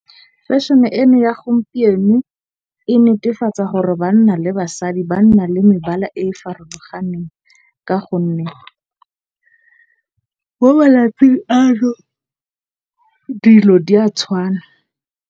Fashion-e eno ya gompieno e netefatsa gore banna le basadi ba nna le mebala e e farologaneng. Ka gonne bo malatsi ano dilo di a tshwana.